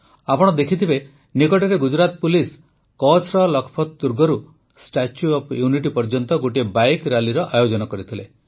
ଆପଣ ଦେଖିଥିବେ ନିକଟରେ ଗୁଜୁରାଟ ପୁଲିସ କଚ୍ଛର ଲଖପତ ଦୁର୍ଗରୁ ଷ୍ଟାଚ୍ୟୁ ଅଫ୍ ୟୁନିଟି ପର୍ଯ୍ୟନ୍ତ ଗୋଟିଏ ବାଇକ୍ ରାଲିର ଆୟୋଜନ କରିଥିଲେ